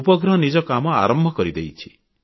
ଉପଗ୍ରହ ନିଜ କାମ ଆରମ୍ଭ କରିଦେଇଛି